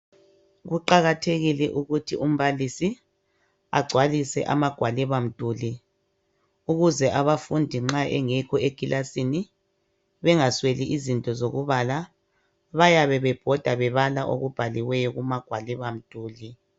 Kuqakathekile ukuthi umbalisi agcwalise amagwalibamduli ukuze abafundi nxa bengekho ekilasini bengasweli izinto zokubala. Bayabe bebhoda bebala okubhaliwwyo kumagwalibamduli.